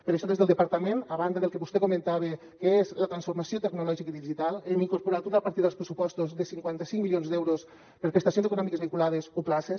per això des del departament a banda del que vostè comentava que és la transformació tecnològica i digital hem incorporat una partida als pressupostos de cinquanta cinc milions d’euros per a prestacions econòmiques vinculades o places